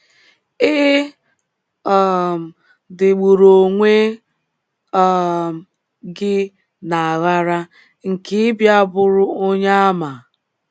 Ị um dịgburu onwe um gị n’aghara nke ịbịa bụrụ Onyeàmà. ”